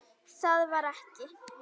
Það var ekki.